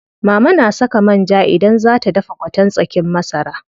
Mama na saka man ja idan zaa ta dafa gwaten tsakin masara.